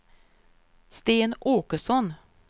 Sten Åkesson